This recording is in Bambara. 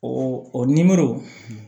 O o nimoro